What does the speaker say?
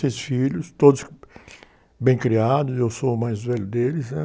Seis filhos, todos bem criados, eu sou o mais velho deles, né?